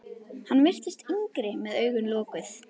Hann virtist yngri með augun lokuð.